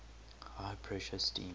high pressure steam